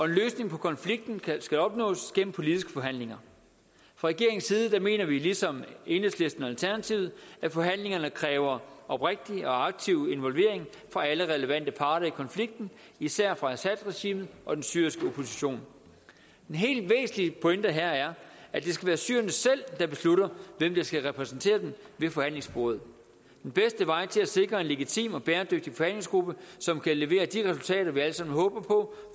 løsning på konflikten skal opnås gennem politiske forhandlinger fra regeringens side mener vi ligesom enhedslisten og alternativet at forhandlingerne kræver oprigtig og aktiv involvering fra alle relevante parter i konflikten især fra assadregimet og den syriske opposition den helt væsentlige pointe her er at det skal være syrerne selv der beslutter hvem der skal repræsentere dem ved forhandlingsbordet den bedste vej til at sikre en legitim og bæredygtig forhandlingsgruppe som kan levere de resultater vi alle sammen håber på